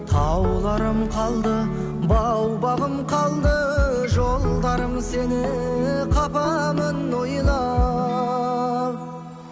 тауларым қалды бау бағым қалды жолдарым сені қапамын ойлап